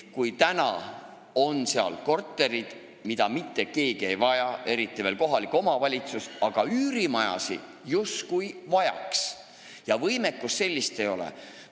On olemas korterid, mida ei vaja mitte keegi, eriti veel mitte kohalik omavalitsus, aga üürimaju justkui vajataks, sellist võimekust aga ei ole.